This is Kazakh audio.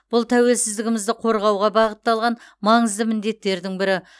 бұл тәуелсіздігімізді қорғауға бағытталған маңызды міндеттердің бірі